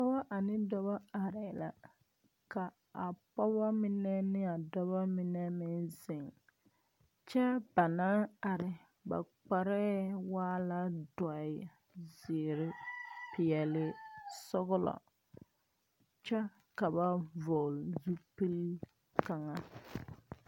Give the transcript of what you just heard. Pɔgɔ ane dɔɔbɔ areɛ la. Ka a pɔgɔbɔ mene ne a dɔbɔ mene meŋ zeŋ. Kyɛ ba na are, ba kpareɛ waa la duoe, ziire, piɛlii, sɔglɔ. Kyɛ ka ba vogle zupul kanga